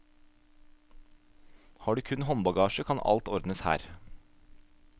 Har du kun håndbagasje, kan alt ordnes her.